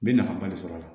N bɛ nafaba de sɔr'a la